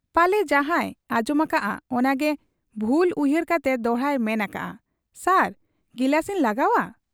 ᱯᱟᱞᱮ ᱡᱟᱦᱟᱸᱭ ᱟᱸᱡᱚᱢ ᱟᱠᱟᱟᱜ ᱟ ᱚᱱᱟᱜᱮ ᱵᱷᱩᱞᱟ ᱩᱭᱦᱟᱹᱨ ᱠᱟᱛᱮ ᱫᱚᱦᱲᱟᱭ ᱢᱮᱱ ᱟᱠᱟᱜ ᱟ, 'ᱥᱟᱨ ᱜᱤᱞᱟᱹᱥ ᱤᱧ ᱞᱟᱜᱟᱣ ᱟ ?'